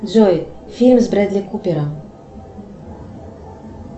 джой фильм с бредли купером